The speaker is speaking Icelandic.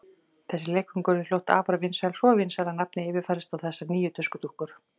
Þessi leikföng urðu fljótt afar vinsæl, svo vinsæl að nafnið yfirfærðist á þessar nýju tuskudúkkur.